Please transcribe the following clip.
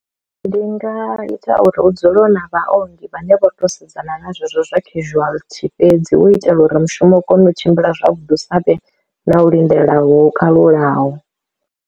Ndi nga ita uri hu dzule hu na vhaongi vhane vho to sedzana na zwezwo zwa casualty fhedzi hu u itela uri mushumo u kone u tshimbila zwavhuḓi hu sa vhe na u lindela ho kalulaho.